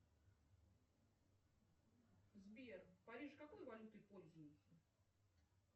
сбер в париже какой валютой пользуются